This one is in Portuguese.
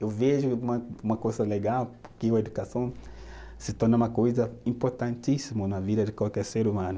Eu vejo uma uma coisa legal porque a educação se torna uma coisa importantíssima na vida de qualquer ser humano.